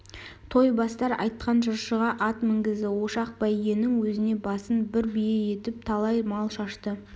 той бастар айтқан жыршыға ат мінгізді ошақ бәйгенің өзіне басын бір бие етіп талай мал шашты